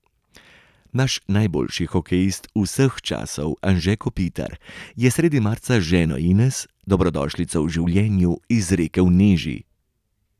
Naš najboljši hokejist vseh časov Anže Kopitar je sredi marca z ženo Ines dobrodošlico v življenju izrekel Neži.